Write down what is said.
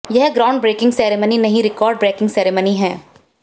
यह ground breaking ceremony नहीं record breaking ceremony है